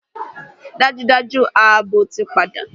Dájúdájú! Ààbò ti padà